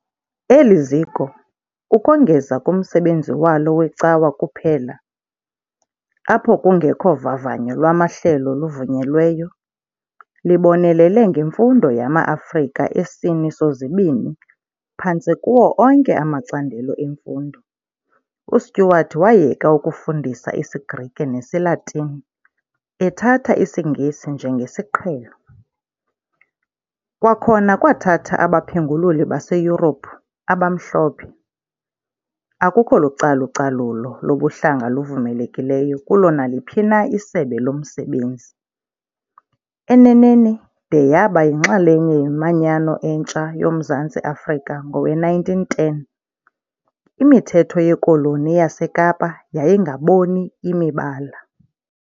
Eli ziko, ukongeza kumsebenzi walo wecawa kuphela - apho kungekho vavanyo lwamahlelo luvunyelweyo - libonelele ngemfundo yama-Afrika esini sozibini phantse kuwo onke amacandelo emfundo, uStewart wayeka ukufundisa isiGrike nesiLatini, ethatha isiNgesi njengesiqhelo, kwakhona kwathatha abaphengululi baseYurophu, abamhlophe, akukho lucalucalulo lobuhlanga luvumelekileyo kulo naliphi na isebe lomsebenzi, eneneni, de yaba yinxalenye yeManyano entsha yoMzantsi Afrika ngowe1910, imithetho yeKoloni yaseKapa "yayingaboni imibala".